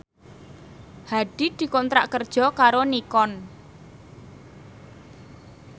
Hadi dikontrak kerja karo Nikon